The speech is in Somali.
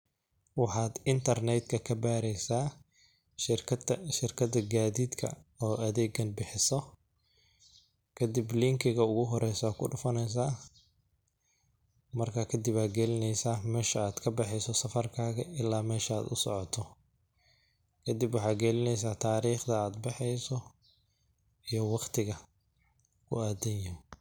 Waxaad internet ka, ka baareysaa shirkada gaadiidka oo adeega bixiso kadib linkiga ugu horeeyso aad dhufaneysaa ,markaa kadib aa galineysaa meesha aad ka baxeeyso safarkaaga ilaa meesha aad u soocoto ,kadib waxaad galineysaa taariqda aad baxeeyso iyo waqtiga oo aad tageso.